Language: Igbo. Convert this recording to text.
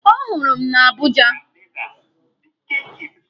Ọ hụrụ m na Abuja.